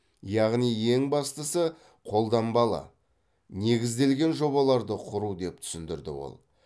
яғни ең бастысы қолданбалы негізделген жобаларды құру деп түсіндірді ол